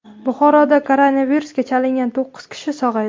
Buxoroda koronavirusga chalingan to‘qqiz kishi sog‘aydi.